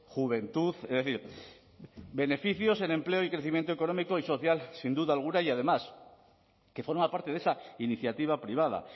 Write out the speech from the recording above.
juventud es decir beneficios en empleo y crecimiento económico y social sin duda alguna y además que forma parte de esa iniciativa privada